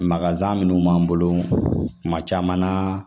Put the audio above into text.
Maka minnu b'an bolo kuma caman na